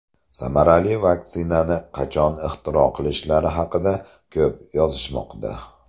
Samarali vaksinani qachon ixtiro qilishlari haqida ko‘p yozishmoqda.